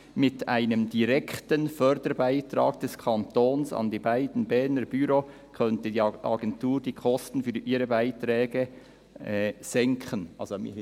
Mit einem direkten Förderbeitrag des Kantons an die beiden Berner Büros […] könnte die Agentur die Kosten für ihre Beiträge […] senken.»